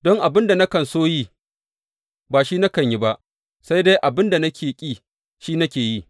Don abin da nakan so yi, ba shi nakan yi ba, sai dai abin da nake ƙi, shi nake yi.